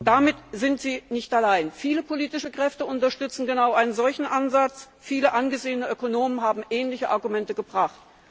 Damit sind Sie nicht allein. Viele politische Kräfte unterstützen genau einen solchen Ansatz, viele angesehene Ökonomen haben ähnliche Argumente gebracht.